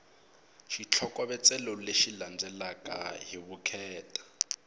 xitlhokovetselo lexi landzelaka hi vukheta